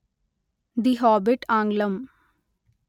the Hobbit ఆంగ్లం